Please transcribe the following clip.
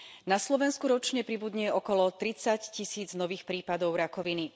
Na Slovensku ročne pribudne okolo tridsaťtisíc nových prípadov rakoviny.